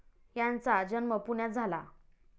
यांचा जन्म पुण्यात झाला.